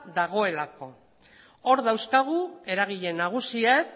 dagoelako hor dauzkagu eragile nagusiek